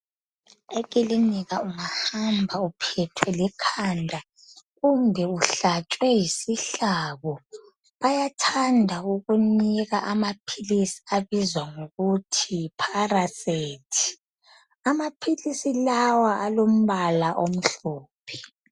Ekilinika ungahamba uphethwe likhanda kumbe uhlatshwe yisihlabo bayathanda ukunika amaphilisi abizwa ngokuthi paracet amaphilisi lawa alombala omhlophe.